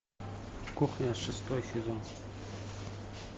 кухня шестой сезон